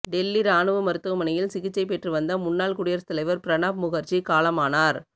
டெல்லி ராணுவ மருத்துவமனையில் சிகிச்சை பெற்று வந்த முன்னாள் குடியரசு தலைவர் பிரணாப் முகர்ஜி காலமானார்